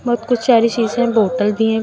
बहुत कुछ सारी शीशे बॉटल भी है।